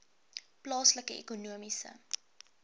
plaaslike ekonomiese